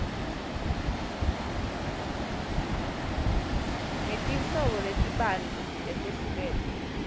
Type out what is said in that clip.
ngetinhlobo letibanti letehlukene